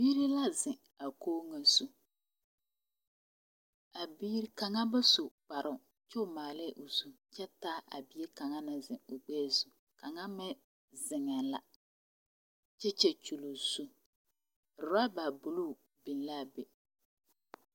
Biire la zeŋ a koge ŋa zu. A biire, kanga ba su kparo kyɛ o maalɛ o kyɛ taa a bie kanga ne zeŋ a o gbɛɛ zu. Kanga meŋ zeŋeɛ la kyɛ kyankyule o zu. Roba buluu biŋ la a be.